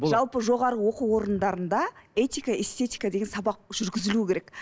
жалпы жоғарғы оқу орындарында этика эстетика деген сабақ жүргізілуі керек